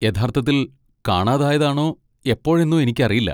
യഥാർത്ഥത്തിൽ കാണാതായതാണോ എപ്പോഴെന്നോ എനിക്കറിയില്ല.